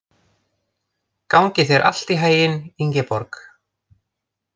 Gangi þér allt í haginn, Ingeborg.